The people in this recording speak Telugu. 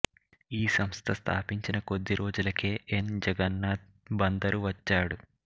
ఈ సంస్థ స్థాపించిన కొద్ది రోజులకే ఎన్ జగన్నాధ్ బందరు వచ్చాడు